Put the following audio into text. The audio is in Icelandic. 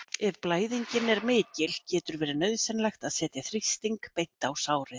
Ef blæðingin er mikil getur verið nauðsynlegt að setja þrýsting beint á sárið.